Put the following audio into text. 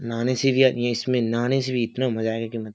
नहाने से भी आ इसमें नहाने से भी इतना मज़ा आएगा की मत --